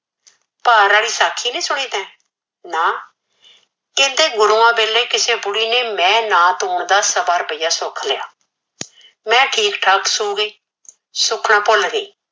ਭਾਰ ਆਲੀ ਸਾਖੀ ਨੀ ਸੁਣੀ ਤੇ ਨਾ ਕਹਿੰਦੇ ਗੁਰੂਆ ਵੇਲੇ ਕਿਸੀ ਬੁੜੀ ਨੇ ਮੈ ਨਾ ਤੋਨ ਦਾ ਸਵਾ ਰੁਪਇਆ ਸੁਖ ਲਿਆ ਮੈ ਠੀਕ ਠਾਕ ਸੋ ਗੀ ਸੁਖਨਾ ਭੁਲ ਗੀ